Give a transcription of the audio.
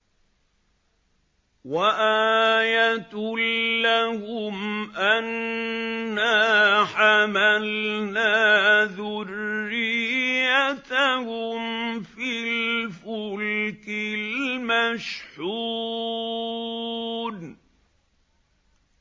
وَآيَةٌ لَّهُمْ أَنَّا حَمَلْنَا ذُرِّيَّتَهُمْ فِي الْفُلْكِ الْمَشْحُونِ